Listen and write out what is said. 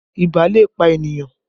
Ibà lè pa ènìyàn